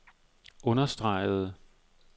understregede